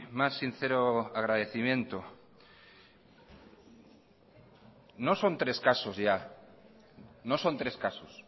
más sincero agradecimiento no son tres casos ya no son tres casos